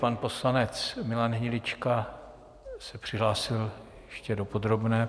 Pan poslanec Milan Hnilička se přihlásil ještě do podrobné.